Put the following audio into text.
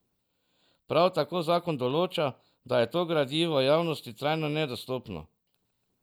Prav tako zakon določa, da je to gradivo javnosti trajno nedostopno.